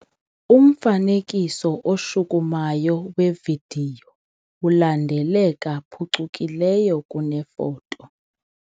Umfanekiso oshukumayo wevidiyo ulandeleka phucukileyo kunefoto.